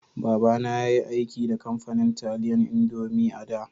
Baba na ya yi aiki da kamfanin taliyan indomie a'da.